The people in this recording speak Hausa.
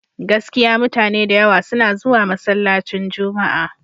Gaskiya mutane da yawa suna zuwa masallacin Juma'a.